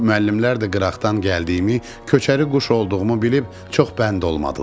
Müəllimlər də qıraqdan gəldiyimi, köçəri quş olduğumu bilib çox bənd olmadılar.